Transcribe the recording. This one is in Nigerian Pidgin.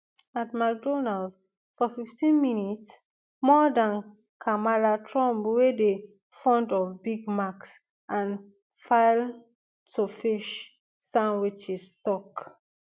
at mcdonalds for fifteen minutes more dan kamala trump wey dey fond of big macs and filetofish sandwiches tok